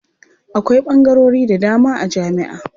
Akwai ɓangarori da dama a jami'a.